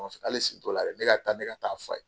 Hali si t'o la yɛrɛ ne ka taa ne ka taa f'a ye.